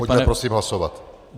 Pojďme prosím hlasovat!